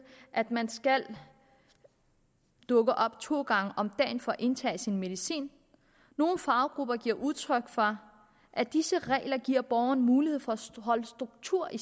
at man skal dukke op to gange om dagen for at indtage sin medicin nogle faggrupper giver udtryk for at disse regler giver borgerne mulighed for en struktur i